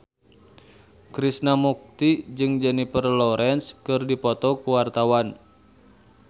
Krishna Mukti jeung Jennifer Lawrence keur dipoto ku wartawan